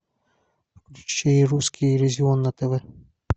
включи русский иллюзион на тв